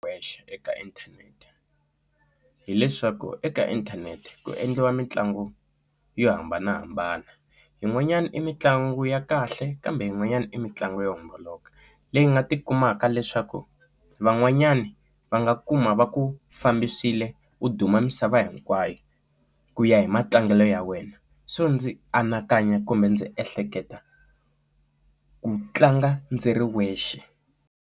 Wexe eka inthanete hileswaku eka inthanete ku endliwa mitlangu yo hambanahambana yin'wanyani i mitlangu ya kahle kambe yin'wanyana i mitlangu yo homboloka leyi nga tikumaka leswaku van'wanyani va nga kuma va ku fambisile u duma misava hinkwayo ku ya hi matlangelo ya wena so ndzi anakanya kumbe ndzi ehleketa ku tlanga ndzi ri wexe.